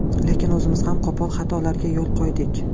Lekin o‘zimiz ham qo‘pol xatolarga yo‘l qo‘ydik.